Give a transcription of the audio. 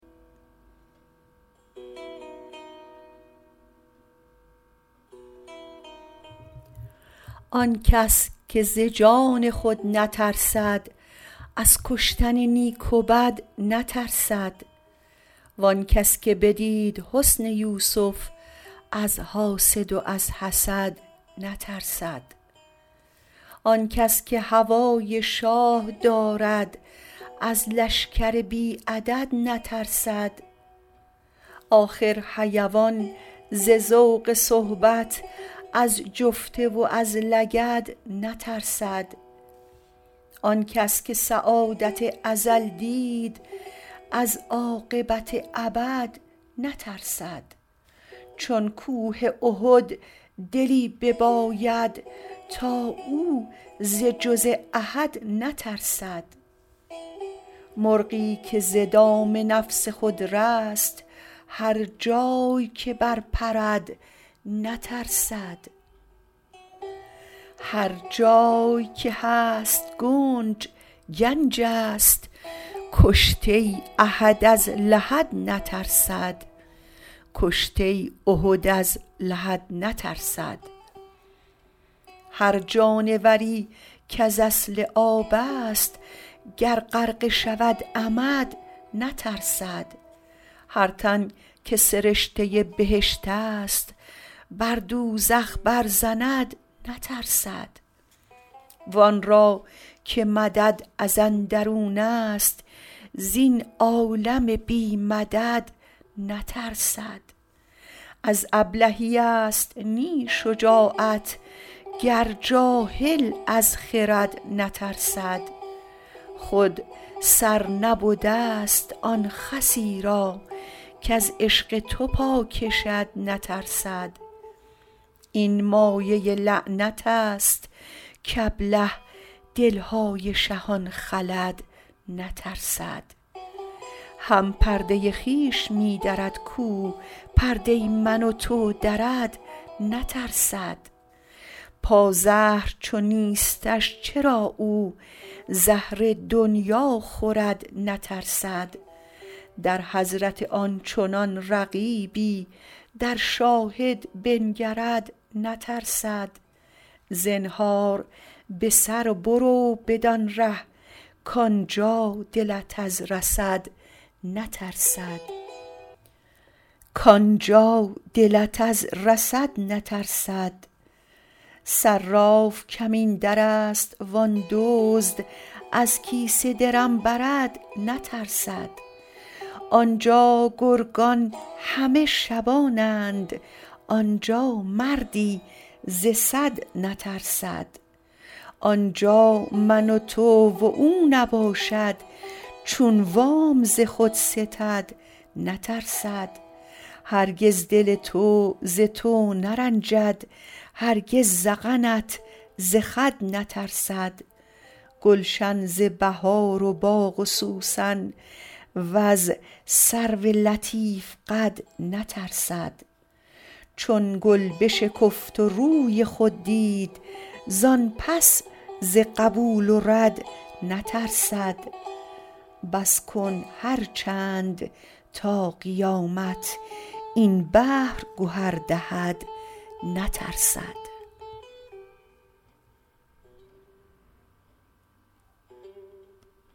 آن کس که ز جان خود نترسد از کشتن نیک و بد نترسد وان کس که بدید حسن یوسف از حاسد و از حسد نترسد آن کس که هوای شاه دارد از لشکر بی عدد نترسد آخر حیوان ز ذوق صحبت از جفته و از لگد نترسد آن کس که سعادت ازل دید از عاقبت ابد نترسد چون کوه احد دلی بباید تا او ز جز احد نترسد مرغی که ز دام نفس خود رست هر جای که برپرد نترسد هر جای که هست گنج گنجست کشته احد از لحد نترسد هر جانوری کز اصل آبست گر غرقه شود عمد نترسد هر تن که سرشته بهشتست بر دوزخ برزند نترسد وان را که مدد از اندرونست زین عالم بی مدد نترسد از ابلهیست نی شجاعت گر جاهل از خرد نترسد خود سر نبدست آن خسی را کز عشق تو پا کشد نترسد این مایه لعنتست کابله دل های شهان خلد نترسد هم پرده خویش می درد کو پرده من و تو درد نترسد پازهر چو نیستش چرا او زهر دنیا خورد نترسد در حضرت آن چنان رقیبی در شاهد بنگرد نترسد زنهار به سر برو بدان ره کان جا دلت از رصد نترسد صراف کمین درست و آن دزد از کیسه درم برد نترسد آن جا گرگان همه شبانند آن جا مردی ز صد نترسد آن جا من و تو و او نباشد چون وام ز خود ستد نترسد هرگز دل تو ز تو نرنجد هرگز ذقنت ز خد نترسد گلشن ز بهار و باغ سوسن وز سرو لطیف قد نترسد چون گل بشکفت و روی خود دید زان پس ز قبول و رد نترسد بس کن هر چند تا قیامت این بحر گهر دهد نترسد